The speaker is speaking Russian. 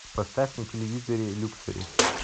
поставь на телевизоре люксори